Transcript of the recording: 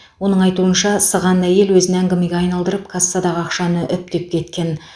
оның айтуынша сыған әйел өзін әңгімеге айналдырып кассадағы ақшаны үптеп кеткен